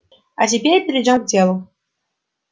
а теперь перейдём к делу